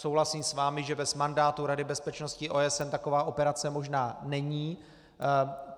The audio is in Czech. Souhlasím s vámi, že bez mandátu Rady bezpečnosti OSN taková operace možná není.